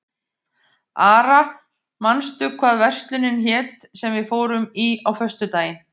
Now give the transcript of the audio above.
Ara, manstu hvað verslunin hét sem við fórum í á föstudaginn?